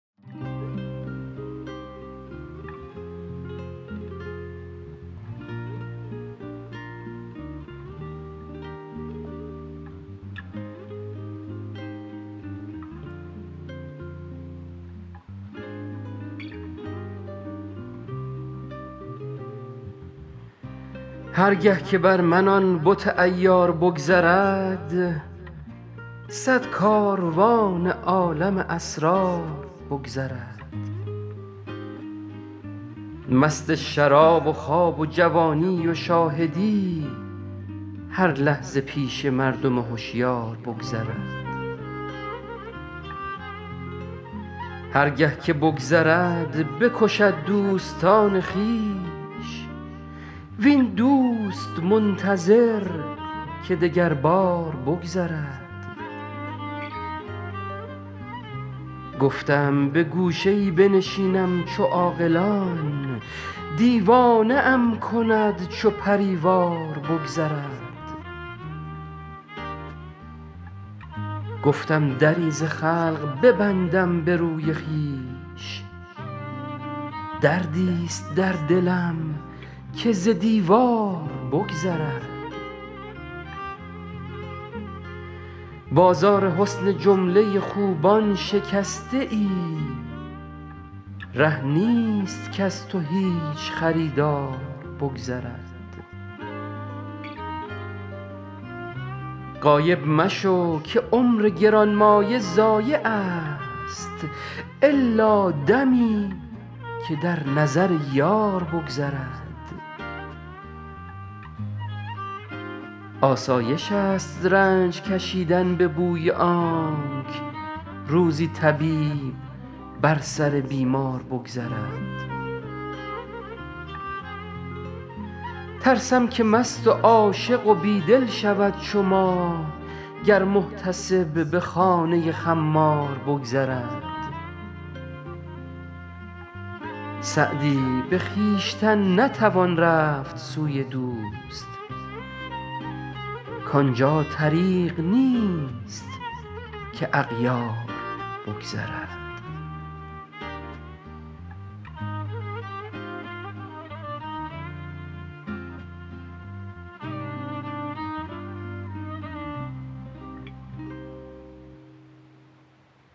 هر گه که بر من آن بت عیار بگذرد صد کاروان عالم اسرار بگذرد مست شراب و خواب و جوانی و شاهدی هر لحظه پیش مردم هشیار بگذرد هر گه که بگذرد بکشد دوستان خویش وین دوست منتظر که دگربار بگذرد گفتم به گوشه ای بنشینم چو عاقلان دیوانه ام کند چو پری وار بگذرد گفتم دری ز خلق ببندم به روی خویش دردیست در دلم که ز دیوار بگذرد بازار حسن جمله خوبان شکسته ای ره نیست کز تو هیچ خریدار بگذرد غایب مشو که عمر گرانمایه ضایعست الا دمی که در نظر یار بگذرد آسایشست رنج کشیدن به بوی آنک روزی طبیب بر سر بیمار بگذرد ترسم که مست و عاشق و بی دل شود چو ما گر محتسب به خانه خمار بگذرد سعدی به خویشتن نتوان رفت سوی دوست کان جا طریق نیست که اغیار بگذرد